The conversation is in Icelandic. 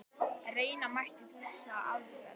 Reyna mætti þessa aðferð.